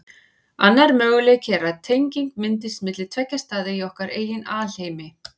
Annar möguleiki er að tenging myndist milli tveggja staða í okkar eigin alheimi.